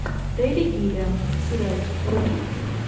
терри гиллиам сериальчик вруби